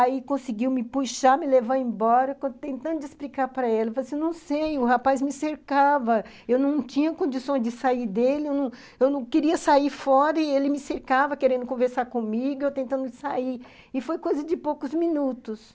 aí conseguiu me puxar, me levar embora, tentando explicar para ele, mas eu não sei, o rapaz me cercava, eu não tinha condições de sair dele, eu não eu não, queria sair fora e ele me cercava querendo conversar comigo, eu tentando sair, e foi coisa de poucos minutos.